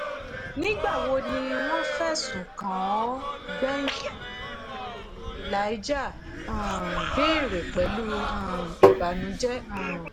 nígbà wo ni wọ́n fẹ̀sùn kàn ọ́ gbẹ̀yìn” elijah um béèrè pẹ̀lú um ìbànújẹ́ um